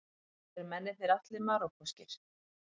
Eru mennirnir allir Marokkóskir